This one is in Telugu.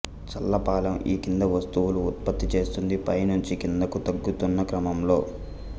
చల్లపాలెం ఈ కింది వస్తువులు ఉత్పత్తి చేస్తోంది పై నుంచి కిందికి తగ్గుతున్న క్రమంలో